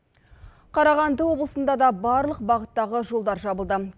қарағанды облысында да барлық бағыттағы жолдар жабылды